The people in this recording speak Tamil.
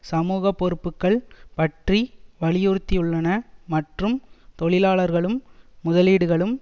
சமூகப்பொறுப்புக்கள் பற்றி வலியுறுத்தியுள்ளன மற்றும் தொழிலாளர்களும் முதலீடுகளும்